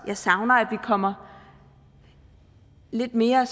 jeg savner at vi kommer lidt mere